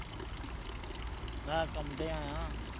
ਮੈਂ ਕੰਮ ਤੇ ਆਇਆ